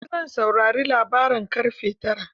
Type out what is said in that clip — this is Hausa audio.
Gobe zan saurari labaran ƙarfe tara.